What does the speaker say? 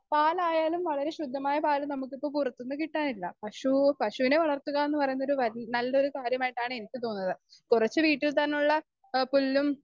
Speaker 2 പാലായാലും വളരെ ശുദ്ധമായ പാല് നമുക്കിപ്പൊ പുറത്തുനിന്ന് കിട്ടാനില്ല പശു പശുവിനെ വളർത്തുക എന്ന് പറയുന്നതൊരു നല്ലൊരു കാര്യമായിട്ടാണ് എനിക്ക് തോന്നുന്നത്. കുറച്ചു വീട്ടിൽ തന്നുള്ള ആ പുല്ലും